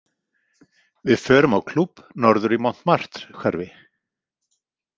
Við förum á klúbb norður í Montmartre- hverfi.